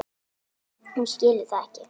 Hún skilur það ekki.